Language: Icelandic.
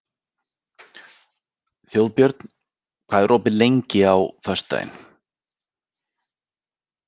Þjóðbjörn, hvað er opið lengi á föstudaginn?